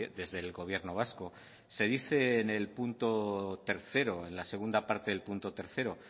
desde el gobierno vasco se dice en la segunda parte del punto tres